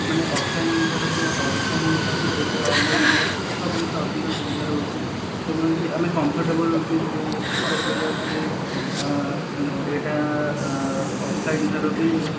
offline ଜିନିଷ offline ଠାରୁ online ରେ service ଅଧିକ ସୁବିଧାରେ ମିଳୁଛି ଆମେ comfortable feel କରି ପାରିବା କି ଆଁ ଏଟା ଆଁ offline ଜିନିଷ ଠାରୁ